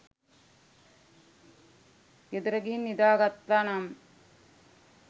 ගෙදර ගිහින් නිදා ගත්තනම්